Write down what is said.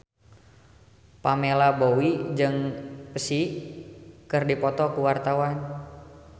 Pamela Bowie jeung Psy keur dipoto ku wartawan